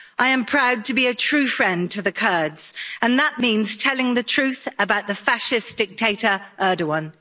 I am proud to be a true friend to the Kurds, and that means telling the truth about the fascist dictator Erdoğan.